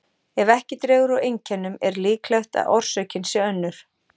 Ef ekki dregur úr einkennum er líklegt að orsökin sé önnur.